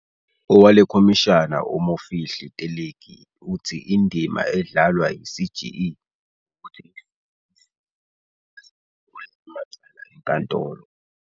Owalekhomishana u-Mofihli Teleki uthi indima edla lwa yi-CGE wukuthi isize izisulu ukuba zivule amacala enkantolo.